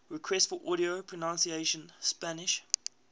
requests for audio pronunciation spanish